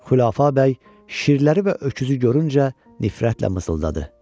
Xülafə bəy şirləri və öküzü görüncə nifrətlə mızıldadı.